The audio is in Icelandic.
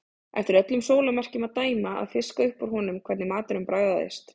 Eftir öllum sólarmerkjum að dæma að fiska upp úr honum hvernig maturinn bragðaðist.